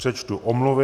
Přečtu omluvy.